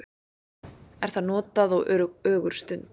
er það notað á ögurstund